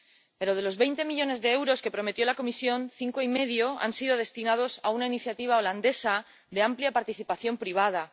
Pero de los veinte millones de euros que prometió la Comisión, cinco y medio han sido destinados a una iniciativa neerlandesa de amplia participación privada.